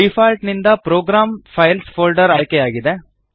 default ನಿಂದ program files folder ಆಯ್ಕೆಯಾಗಿದೆ